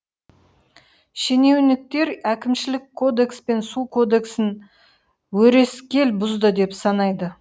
шенеуіктер әкімшілік кодекс пен су кодексін өрескел бұзды деп санайды